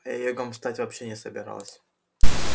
а я йогом стать вовсе не собиралась